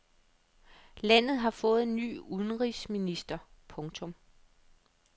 Landet har fået ny udenrigsminister. punktum